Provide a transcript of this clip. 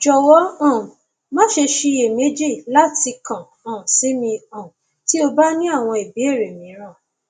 jọwọ um maṣe ṣiyemeji lati kan um si mi um ti o ba ni awọn ibeere miiran